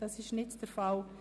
– Dies ist nicht der Fall.